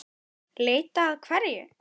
Leita að hverju?